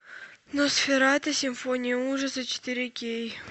носферату симфония ужаса четыре кей